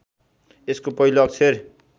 यसको पहिलो अक्षर